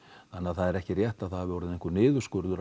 þannig að það er ekki rétt að það hafi orðið einhver niðurskurður